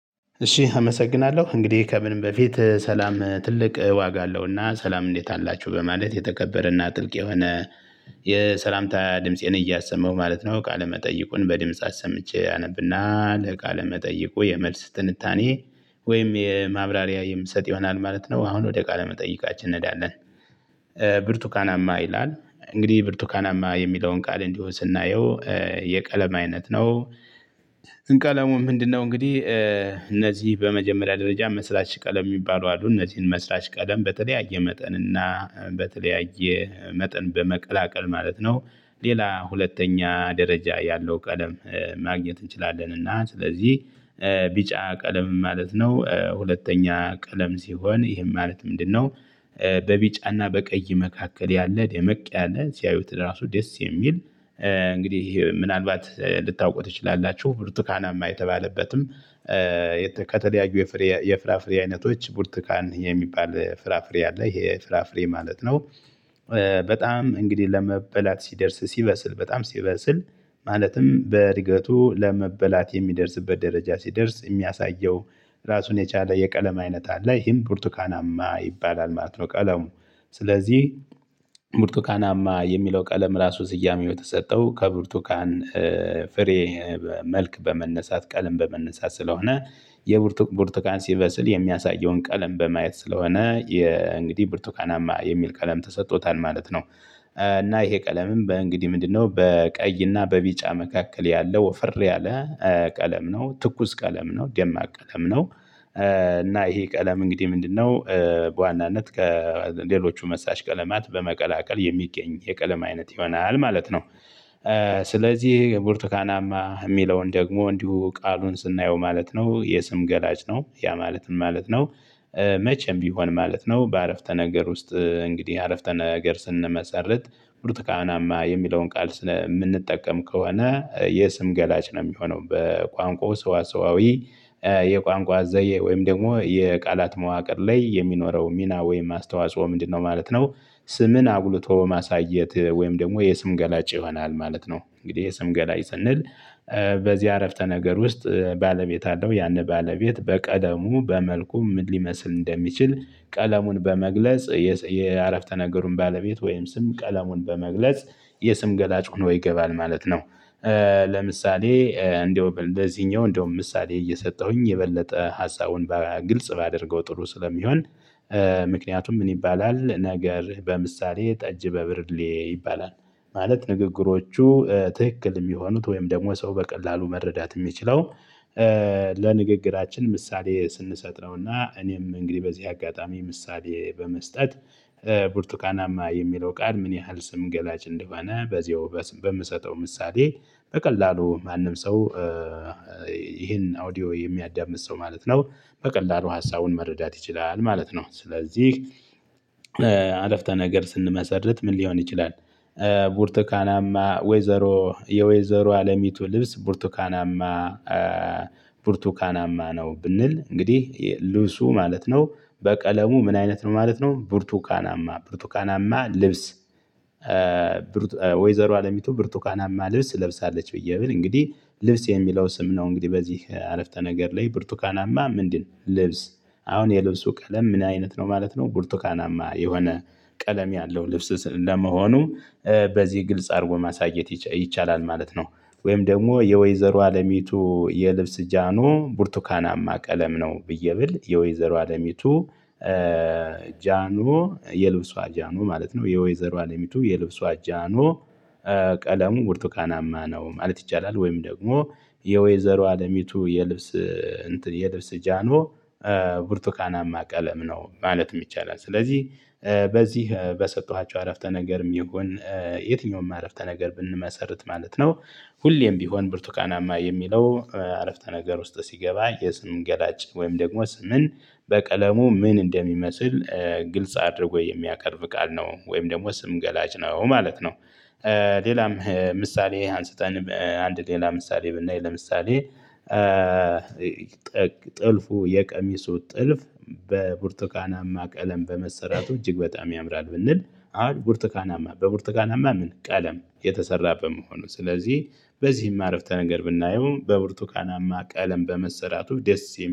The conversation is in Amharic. እሺ አመሰግናለሁ እንግዲህ ከምንም በፊት ሠላም ትልቅ ዋጋ አለውና ሠላም እንዴት አላችሁ በማለት የተከበረና ጥልቅ የሆነ የሠላምታ ድምፄን እያሰመው ማለት ነው ቃለ መጠይቁን በድምጽ አሰምቼ አነብና ለቃለ መጠይቁ የመልስ ትንታኔ ወይም የ ማብራሪያ የምሰጥ ይሆናል ማለት ነው። አሁን ወደ ቃለ መጠይቃችን እንሄዳለን። ብርቱካናማ ይላል እንግዲህ ብርቱካናማ የሚለውን ቃል እንዲሁ ስናየው የቀለም አይነት ነው። እን ቀለሙ ምንድንነው እንግዲህ? እነዚህ በመጀመሪያ ደረጃ መስራች ቀለም የሚባሉ አሉ እነዚህን መስራች ቀለም በተለያየ መጠን እና በተለያየ መጠን በመቀላቀል ማለት ነው። ሌላ ሁለተኛ ደረጃ ያለው ቀለም ማግኘት እንችላለን እና ስለዚህ ቢጫ ቀለም ማለት ነው ሁለተኛ ቀለም ሲሆን ይህን ማለት ምንድንነው? በቢጫና በቀይ መካከል ያለ ደመቅ ያለ ሲያዩት ራሱ ደስ የሚል ምናልባት ልታውቁ ትችላላችሁ ብርቱካናማ የተባለበትም። ከተለያዩ የፍሬ የፍራፍሬ አይነቶች ብርትካን የሚባል ፍራፍሬ አለ ይሄ ፍራፍሬ ማለት ነው። በጣም እንግዲህ ለመበላት ሲደርስ ሲበስል በጣም ሲበስል ማለትም በእድገቱ ለመበላት የሚደርስበት ደረጃ ሲደርስ የሚያሳየው ራሱን የቻለ የቀለም አይነት አለ ይሄም ብርቱካናማ ይባላል ማለት ነው። ቀለሙ ስለዚህ ብርቱካናማ የሚለው ቀለም ራሱ ስያሜ የተሰጠው ከብርቱካን ፍሬ መልክ በመነሳት ቀልም በመነሳት ስለሆነ የብርቱክ ብርቱካን ሲበስል የሚያሳየውን ቀለም በማየት ስለሆነ የእንግዲህ ብርቱካናማ የሚል ቀለም ተሰጥቶታል ማለት ነው። እና ይሄ ቀለምም በእንግዲህ ምንድንነው በቀይ እና በቢጫ መካከል ያለው ወፈር ያለ ቀለም ነው ትኩስ ቀለም ነው ደማቅ ቀለም ነው እና ይሄ ቀለም እንግዲህ ምንድንነው? በዋናነት ከሌሎቹ መስራች ቀለማት በመቀላቀል የሚገኝ የቀለም አይነት ይሆናል ማለት ነው። ስለዚህ ብርቱካናማ የሚለውን ደግሞ እንዲሁ ቃሉን ስናየው ማለት ነው የስም ገላጭ ነው ያ ማለት ምን ማለት ነው? መቼም ቢሆን ማለት ነው በ ዓረፍተ ነገር ውስጥ እንግዲህ ዓረፍተ ነገር ስንመሰረት። ብርቱ ካናማ የሚለውን ቃል ስለ የምንጠቀም ከሆነ የስም ገላጭ ነው የሚሆነው በቋንቋው ሰዋሰዋዊ የቋንቋ ዘየ ወይም ደግሞ የቃላት መዋቅር ላይ የሚኖረው ሚና ወይም አስተዋጽኦ ምንድንነው ማለት ነው? ስምን አጉልቶ ማሳየት ወይም ደግሞ የስም ገላጭ ይሆናል ማለት ነው። እንግዲህ የስም ገላጭ ስንል በዚህ አረፍተ ነገር ውስጥ ባለቤት አለው ያንን ባለቤት በቀለሙ በመልኩ ምን ሊመስል እንደሚችል ቀለሙን በመግለጽ የስ የዓረፍተ ነገሩን ባለቤት ወይም ስም ቀለሙን በመግለጽ የስም ገላጭ ሆኖ ይገባል ማለት ነው። ለምሳሌ እንደውም ለዚኛው እንደውም ምሳሌ እየሰጠሁኝ የበለጠ ሀሳቡን ባ ግልጽ ባደርገው ጥሩ ስለሚሆን። ምክንያቱም ምን ይባላል ነገር በምሳሌ ጠጅ በብርሌ ይባላል ማለት ንግግሮቹ ትክክል የሚሆኑት ወይም ደግሞ ሰው በቀላሉ መረዳት የሚችለው። ለንግግራችን ምሳሌ ስንሰጥ ነውና እኔም እንግዲህ በዚህ አጋጣሚ ምሳሌ በመስጠት ብርቱካናማ የሚለው ቃል ምን ያህል ስም ገላጭ እንደሆነ በዚያው በምሰጠው ምሳሌ በቀላሉ ማንም ሰው። አውዲዮ የሚያዳምጥ ሰው ማለት ነው በቀላሉ ሀሳቡን መረዳት ይችላል ማለት ነው ስለዚህ። ዓረፍተ ነገር ስንመሰርት ምን ሊሆን ይችላል? ቡርቱካናማ ወይዘሮ የወይዘሮ አለሚቱ ልብስ ብርቱካናማ። ብርቱካናማ ነው ብንል እንግዲህ ልብሱ ማለት ነው። በቀለሙ ምን አይነት ነው ማለት ነው ብርቱካናማ ብርቱካናማ ልብስ። ወይዘሮ አለሚቱ ብርቱካናማ ልብስ ለብሳለች ብዬ ብል እንግዲህ ልብስ የሚለው ስም ነው እንግዲህ በዚህ ዓረፍተ ነገር ላይ ብርቱካናማ ምንድን ልብስ? አሁን የልብሱ ቀለም ምን አይነት ነው ማለት ነው? ቡርቱካናማ የሆነ ቀለም ያለው ልብስ ስ ለመሆኑ። በዚህ ግልጽ አድርጎ ማሳየት ይች ይቻላል ማለት ነው። ወይም ደግሞ የወይዘሮ አለሚቱ የልብስ ጃኖ ቡርቱካናማ ቀለም ነው ብዬ ብል የወይዘሮ አለሚቱ። ጃኖ የልብሷ ጃኖ ማለት ነው የወይዘሮ አለሚቱ የልብሱ ጃኖ። ቀለሙ ብርቱካናማ ነው ማለት ይቻላል። ወይም ደግሞ የወይዘሮ አለሚቱ የልብስ እንትን የልብስ ጃኖ። ብርቱካናማ ቀለም ነው ማለትም ይቻላል። ስለዚህ በዚህ በሰጠኋቸው አረፍተ ነገርም ይሁን የትኛውም አረፍተ ነገር ብንመሰርት ማለት ነው። ሁሌም ቢሆን ብርቱካናማ የሚለው ዓረፍተ ነገር ውስጥ ሲገባ የስም ገላጭ ወይም ደግሞ ስምን በቀለሙ ምን እንደሚመስል። ግልጽ አድርጎ የሚያቀርብ ቃል ነው ወይም ደግሞ ስም ገላጭ ነው ማለት ነው። ሌላም ምሳሌ አንስተን አንድ ሌላ ምሳሌ ብናይ ለምሳሌ። ጥልፉ የቀሚሱ ጥልፍ በብርቱካናማ ቀለም እጅግ በጣም ያምራል ብንል። አሁን ቡርቱካናማ በቡርቱካናማ ምን ቀለም የተሰራ በመሆኑ ስለዚህ በዚህም ዓረፍተ ነገር ብናየው በብርቱካናማ ቀለም በመሠራቱ ደስ የሚ